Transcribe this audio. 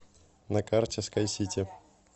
на карте скайсити